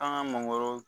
An ka mangoro